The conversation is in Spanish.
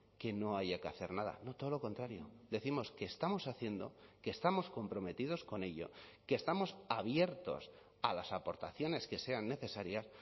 que no haya que hacer nada no todo lo contrario decimos que estamos haciendo que estamos comprometidos con ello que estamos abiertos a las aportaciones que sean necesarias